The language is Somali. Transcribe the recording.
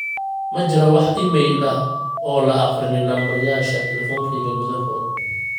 ma jiraa wax iimayl ah oo la aqrinin nambaryaasha telefonkeyga gudahood